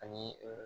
Ani